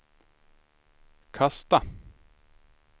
kasta